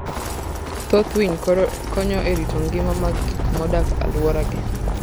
Thoth winy konyo e rito ngima mag gik modak aluora gi.